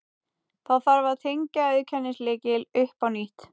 Þá þarf að tengja auðkennislykil upp á nýtt.